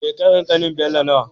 Shekarar ƙanin Bello nawa?